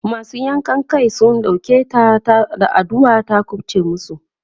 masu yankan Kai Suka ɗauke ta da addu'a ta kufce masu